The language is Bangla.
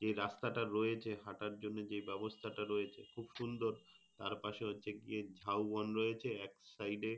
যে রাস্তাটা রয়েছে হাঁটার জন্য যে ব্যবস্থা রয়েছে খুব সুন্দর। তার পাশে হচ্ছে গিয়ে ঝাউবন রয়েছে এক side এ